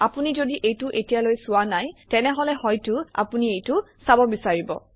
আপুনি যদি এইটো এতিয়ালৈ চোৱা নাই তেনেহলে হয়তো আপুনি এইটো চাব বিচাৰিব